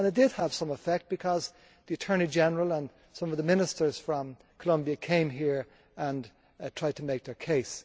It had some effect because the Attorney General and some of the ministers from Colombia came here and tried to make their case.